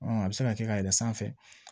a bɛ se ka kɛ ka yɛlɛn sanfɛ